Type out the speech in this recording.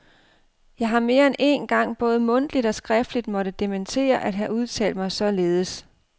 Jeg har mere end én gang både mundtligt og skriftligt måtte dementere at have udtalt mig således.